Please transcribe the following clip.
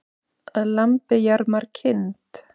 Að lambi jarmar kind.